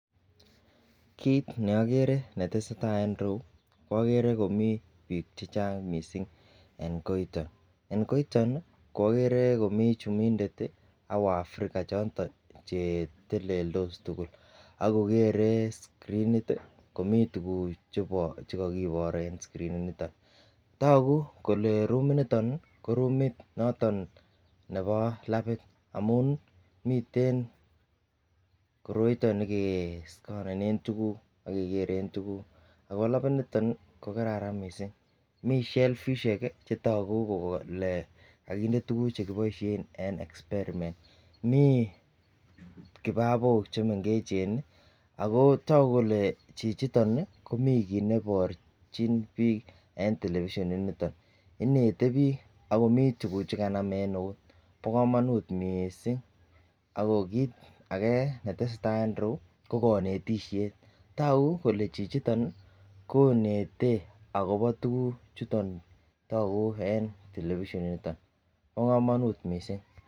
Kit neokere netesetai en irou okere komii bik chechang missing en koito en koito okere komii chumindet tii ak wafrica choton cheteleltos tukul ak kokere screenit komii tukuk chebo chekokibor en screenit niton. Toku kole rumit niton nii ko rumit noton nebo labit amun miten koroito nekeskonenen tukuk akekere tukuk ako labit niton ko kararan missing, Mii shelfishek kiii chetoku kele kokinde tukuk chekiboishen en experiment Mii kibabok chemengechen nii ako toku kole chichiton nii komii kit neiborchin bik en television initon inete bik akomii tukuk chekamam en neut. Bo komonut missing ako kit age netesetai en irou ko konetishet toku kole chichito konete akobo tukuk chuton toku en television initon, bo komonut missing.